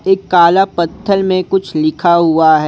एक काला पत्थल में कुछ लिखा हुआ है।